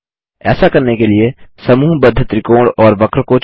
ऐसा करने के लिए समूहबद्ध त्रिकोण और वक्र को चुनें